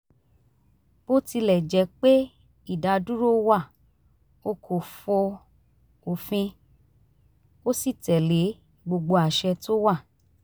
bó tilẹ̀ jẹ́ pé ìdádúró wà ó kò fọ òfin ó sì tẹ̀lé gbogbo àṣẹ tó wà